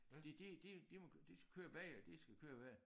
De de de de må køre de skal køre begge de skal køre begge